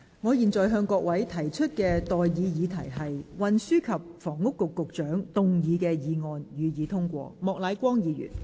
我現在向各位提出的待議議題是：運輸及房屋局局長動議的議案，予以通過。